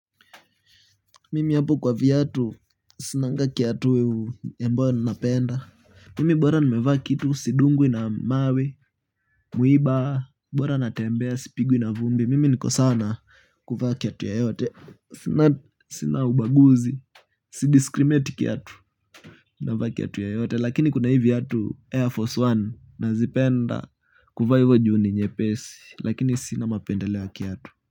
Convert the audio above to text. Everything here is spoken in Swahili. Mimi hapo kwa viatu, sinanga kiatu ambayo napenda. Mimi bora nimevaa kitu, sindungwi na mawe, mwiba, bora natembea sipingwi na vumbi mimi niko sawa na kuvaa kiatu yotote. Sina ubaguzi, sidiskrimeti kiatu navaa kiatu yoyote. Lakini kuna hivi viatu Air Force One, nazipenda kuvaa hivo ju ni nyepesi. Lakini sina mapendeleo kiatu.